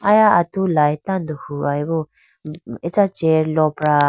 aya atu light tando huwayi bo acha chair lopra.